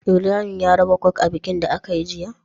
Ibrahim ya raba coke a bikin da akayi jiya?